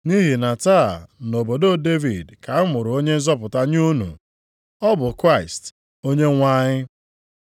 Nʼihi na taa, nʼobodo Devid ka a mụrụ Onye nzọpụta nye unu; ọ bụ Kraịst, Onyenwe anyị.